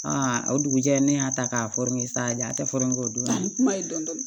o dugujɛ ne y'a ta k'a fɔ n ye salidi a tɛ o don a kuma ye dɔn